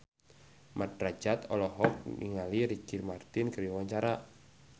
Mat Drajat olohok ningali Ricky Martin keur diwawancara